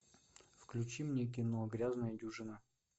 включи мне кино грязная дюжина